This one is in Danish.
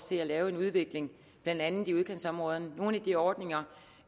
til at lave en udvikling blandt andet i udkantsområderne nogle af de ordninger